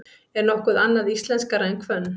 Er nokkuð íslenskara en hvönn?